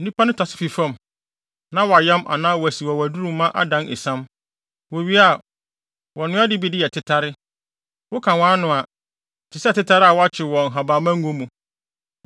Nnipa no tase fii fam na wɔayam anaa wɔasiw wɔ ɔwaduru mu ma adan esiam. Wowie a, wɔnoa de bi yɛ tetare. Woka wʼano a, ɛte sɛ tetare a wɔakyew wɔ nhabamma ngo mu.